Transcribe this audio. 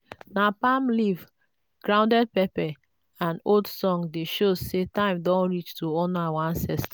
na palm leaf grounded pepper and old song dey show say time don reach to honour our ancestor.